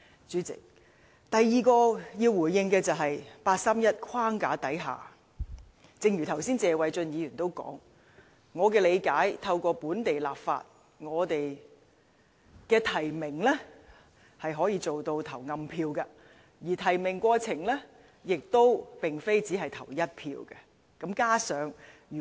主席，第二點要回應的，是據我理解，正如剛才謝偉俊議員所說，在八三一框架下，透過本地立法，提名是可以做到投暗票的，而提名過程並非只限投一票。